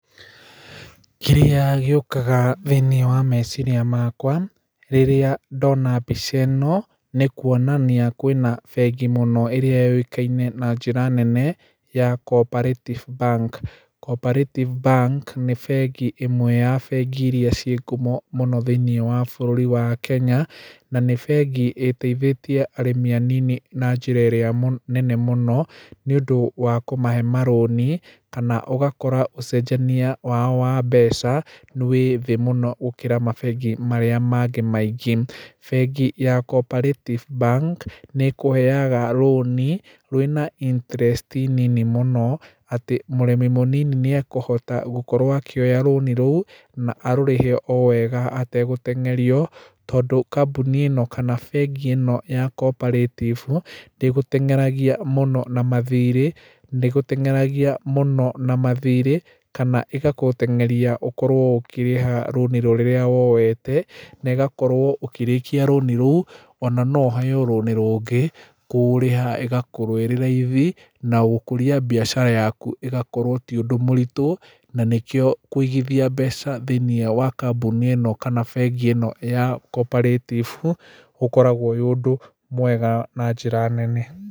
Kĩrĩa gĩũkaga thiinĩ wa meciria makwa rĩrĩa ndona mbica ĩno nĩ kuonania kwĩna bengi mũno ĩrĩa yũĩkaine na njĩra nene ya Co-operative bank. Co-operative bank nĩ bengi imwe ya bengi iria ciĩ ngumo mũno thĩinĩ wa bũrũri wa Kenya na nĩ bengi ĩteithĩtie arĩmi anini na njĩra ĩrĩa nene mũno nĩ ũndu wa kũmahe marũni kana ũgakora ũcenjania wao wa mbeca wĩ thĩ mũno gũkĩra mabengi marĩa mangĩ maingĩ. Bengi ya Co-operative bank nĩ ĩkũheaga rũni rwĩna interest nini mũnoatĩ mũndũ mũnini nĩ eküũhota gũkorwo akĩoya rũni rũu na arũrĩhe o wega ategũteng'erio. Tondũ kambuni ĩno kana brngi ĩno ya Co-operative ndĩ gũteng'eragia mũno na mathirĩ kana ĩgagũteng'eria gũkorwo ũkirĩha rũni rũrĩa woete na ĩgakorwo ũkĩrikia rũni rũu ona no ũheo rũni rũngĩ. Kũrĩha ĩgakorwo ĩri raithi na gũkũria mbaicara yaku ĩgakorwo ti ũndũ mũritũ. Na nĩkio kũigithia mbeca thĩinĩ wa kambuni ĩno kana thĩinĩ wa bengi ĩno ya Co-opearative ũkoragwo ũrĩ ũndũ mwega na njĩra nene.